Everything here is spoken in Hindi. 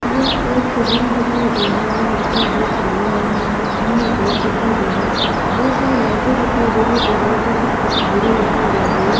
यह एक रूम दिखाई दे रहा है जिसका गेट खुला हुआ है उसके अंत में बेड दिखाई दे रहा है बहुत सारी लाइटे दिखाई दे रही है दीवाल पे कुछ तस्वीरें दिखाई दे रही है।